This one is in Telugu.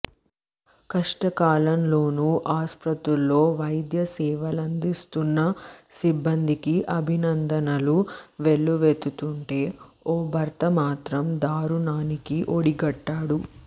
కష్టకాలంలోనూ ఆస్పత్రుల్లో వైద్య సేవలందిస్తున్న సిబ్బందికి అభినందనలు వెల్లువెత్తుతుంటే ఓ భర్త మాత్రం దారుణానికి ఒడిగట్టాడు